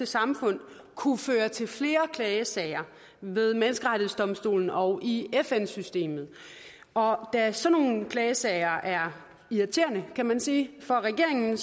samfund kunne føre til flere klagesager ved menneskerettighedsdomstolen og i fn systemet og da sådan nogle klagesager er irriterende kan man sige for regeringen